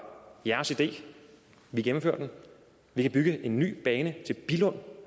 jeres idé vi gennemfører den vi kan bygge en ny bane til billund